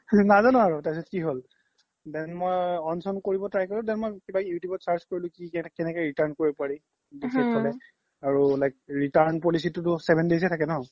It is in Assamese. নাজানো আৰু তাৰ পিছ্ত কি হ্'ল then মই on চ্ন কৰিব try কৰিলো then মই you tube ত search কোৰিলো কেনেকে return কৰিব পাৰি আৰু return policy টো like seven days য়ে থাকে ন্ ?